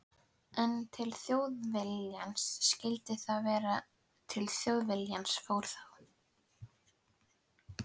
En til Þjóðviljans skyldi það og til Þjóðviljans fór það.